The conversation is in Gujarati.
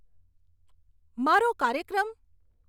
મારો કાર્યક્રમ